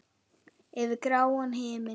Yfir gráan himin.